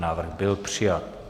Návrh byl přijat.